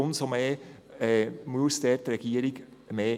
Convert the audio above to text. Umso mehr muss die Regierung mitmachen.